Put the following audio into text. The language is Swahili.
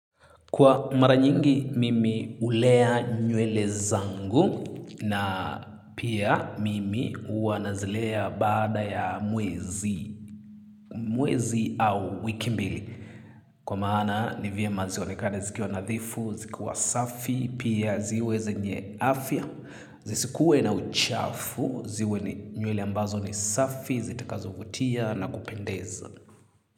Kwa mara nyingi mimi hulea nywele zangu na pia mimi huwa nazilea baada ya mwezi. Mwezi au wiki mbili. Kwa maana ni vyema zionekane zikiwa nadhifu, zikiwa safi, pia ziwe zenye afya, zisikue na uchafu, ziwe nywele ambazo ni safi, zitakazovutia na kupendeza.